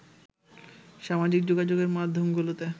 সামাজিক যোগাযোগের মাধ্যমগুলোতে